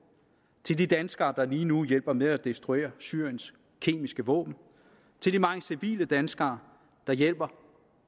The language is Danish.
til de danskere der lige nu hjælper med at destruere syriens kemiske våben til de mange civile danskere der hjælper